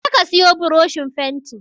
Je ka siyo buroshin fenti